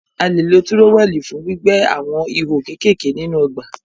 A lè lo tírówẹ̀l fún gbígbẹ́ àwọn ihò kékèké nínú ọgbà